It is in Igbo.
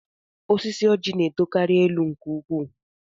Osisi Ọjị na-etokarị elu nke ukwuu